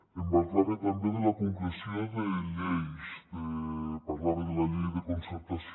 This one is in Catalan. em parlava també de la concreció de lleis parlava de la llei de concertació